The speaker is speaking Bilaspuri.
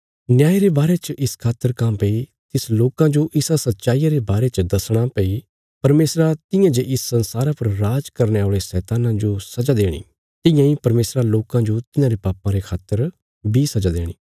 न्याय रे बारे च इस खातर काँह्भई तिस लोकां जो इसा सच्चाईया रे बारे च दसणा भई परमेशरा तियां जे इस संसारा पर राज करने औल़े शैतान्ना जो सजा देणी तियां इ परमेशरा लोकां जो तिन्हांरे पापां रे खातर सजा देणी